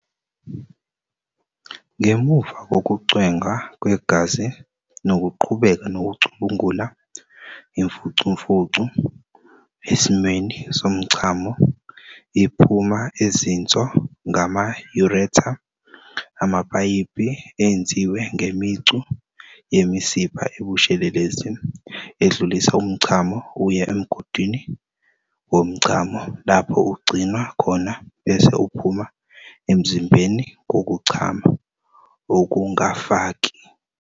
Ngemuva kokucwengwa kwegazi nokuqhubeka nokucubungula, imfucumfucu, esimweni somchamo, iphuma ezinso ngama-ureter, amapayipi enziwe ngemicu yemisipha ebushelelezi edlulisa umchamo uye emgudwini womchamo, lapho ugcinwa khona bese uphuma emzimbeni ngokuchama, ukungafaki.